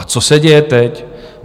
A co se děje teď?